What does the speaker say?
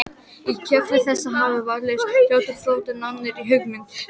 Í kjölfar þessa hafa vafalaust fljótlega þróast nánari hugmyndir